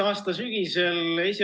Head kolleegid!